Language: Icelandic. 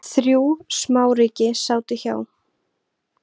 Þrjú smáríki sátu hjá